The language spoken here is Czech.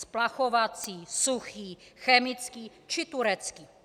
Splachovací, suchý, chemický či turecký?